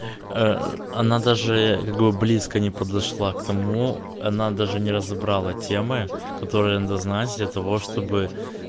она даже как бы близко не подошла к тому она даже не разобрала темы которые надо знать для того чтобы